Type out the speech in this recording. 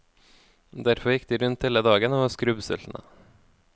Derfor gikk de rundt hele dagen og var skrubbsultne.